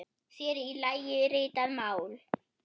Sér í lagi ritað mál.